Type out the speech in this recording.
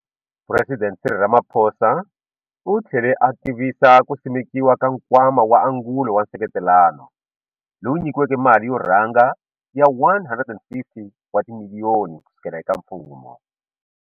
Phuresidente Cyril Ramaphosa u tlhele a tivisa ku simekiwa ka Nkwama wa Angulo wa Nseketelano, lowu nyikiweke mali yo rhanga ya R150 wa timiliyoni kusuka eka mfumo.